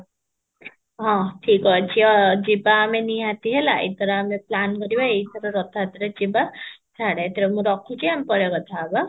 ହଁ ଠିକ ଅଛ ଯିବା ଆମେ ନିହାତି ହେଲେ ଏଥର ଆମେ plan କରିବା ଏଇଟାର ରଥ ଯାତ୍ରା ରେ ଯିବା ଛାଡ଼ ଏଥର ମୁଁ ରଖୁଛି ଆମେ ପରେ କଥା ହବା